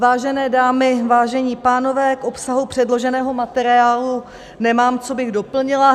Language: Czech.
Vážené dámy, vážení pánové, k obsahu předloženého materiálu nemám, co bych doplnila.